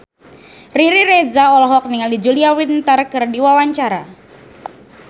Riri Reza olohok ningali Julia Winter keur diwawancara